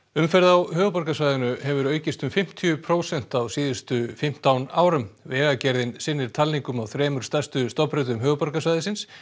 umferð á höfuðborgarsvæðinu hefur aukist um fimmtíu prósent á síðustu fimmtán árum vegagerðin sinnir talningum á þremur stærstu stofnbrautum höfuðborgarsvæðisins